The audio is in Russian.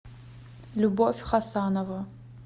любовь хасанова